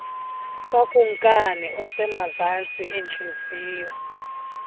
kakumkani osemazantsi entliziyo